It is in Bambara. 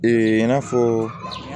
i n'a fɔ